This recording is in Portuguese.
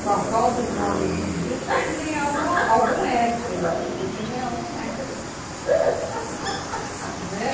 Com a falta de homem hoje em dia, eu tinha que ganhar algum extra, eu acho que eu tinha que ganhar algum extra.